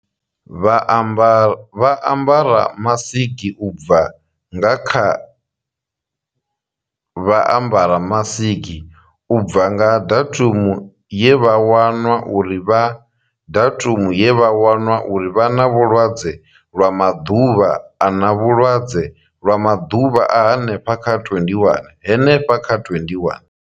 Vha ambara masiki, u bva nga vha ambara masiki, u bva nga datumu ye vha wanwa uri vha datumu ye vha wanwa uri vha na vhulwadze lwa maḓuvha a na vhulwadze lwa maḓuvha a henefha kha 21, henefha kha 21.